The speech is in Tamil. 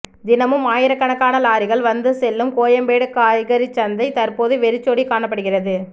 தினமும் ஆயிரக்கணக்கான லாரி்கள் வந்து செல்லும் கோயம்பேடு காய்கறிச்சந்தை தற்போது வெறிச்சோடி காணப்படுகிறது